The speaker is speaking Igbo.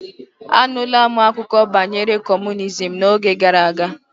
Anula m akụkọ banyere kọmunizm n'oge gara aga